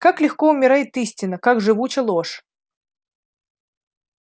как легко умирает истина как живуча ложь